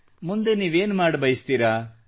ಮುಂದೆ ನೀವೇನು ಮಾಡಬಯಸುತ್ತೀರಾ